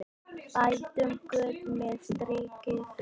Bætum göt með styrkri hönd.